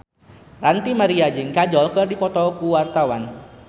Ranty Maria jeung Kajol keur dipoto ku wartawan